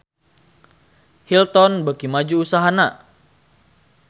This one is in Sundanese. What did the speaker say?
Hilton beuki maju usahana